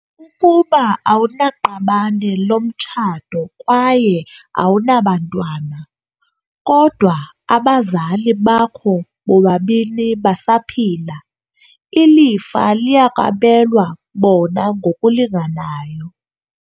Ukuba awunaqabane lomtshato kwaye awunabantwana, kodwa abazali bakho bobabini basaphila, ilifa liyakwabelwa bona ngokulinganayo.